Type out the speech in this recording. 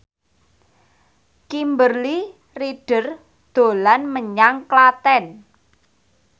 Kimberly Ryder dolan menyang Klaten